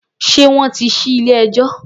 Ṣé wọ́n tí ṣí ilé-ẹjọ́?